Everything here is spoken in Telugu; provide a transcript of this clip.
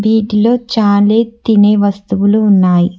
వీటిలో చాలా తినే వస్తువులు ఉన్నాయి.